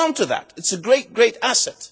Hold on to that it is a great, great